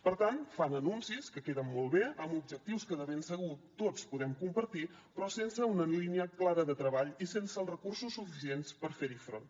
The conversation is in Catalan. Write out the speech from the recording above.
per tant fan anuncis que queden molt bé amb objectius que de ben segur tots podem compartir però sense una línia clara de treball i sense els recursos suficients per fer hi front